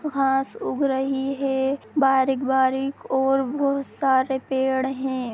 घास उग रही है बारीक बारीक और बहोत सारे पेड़ है।।